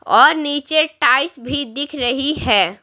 और नीचे टाइस भी दिख रही है।